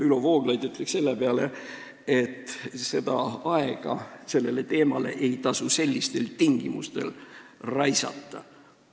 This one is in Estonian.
Ülo Vooglaid ütleks selle peale, et sellele teemale ei tasu sellistel tingimustel aega raisata.